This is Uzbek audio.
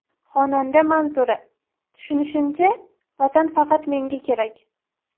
Xonanda Manzura: Tushunishimcha, Vatan faqat menga kerak.